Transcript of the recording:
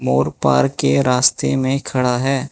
मोर park के रास्ते में खड़ा है।